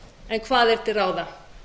en hvað er til ráða